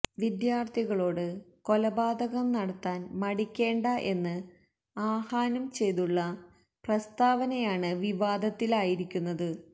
വിദ്യാര്ത്ഥികളോട് കൊലപാതകം നടത്താന് മടിക്കേണ്ട എന്ന് ആഹ്വാനം ചെയ്തുള്ള പ്രസ്താവനയാണ് വിവാദത്തിലായിരിക്കുന്നത്